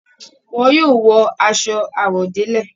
Wọn yóò wọ aṣọ àwọ̀délẹ̀.